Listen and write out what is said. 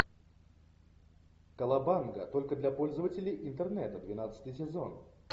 колобанга только для пользователей интернета двенадцатый сезон